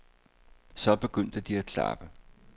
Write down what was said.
Så begyndte de at klappe.